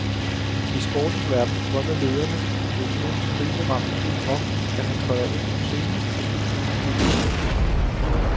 I sportens verden drømmer lederne i en økonomisk kriseramt klub om, at han træder ind på scenen og puster nyt liv i foretagendet.